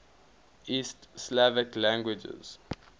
east slavic languages